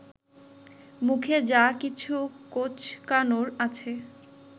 মুখের যা কিছু কোঁচকানোর আছে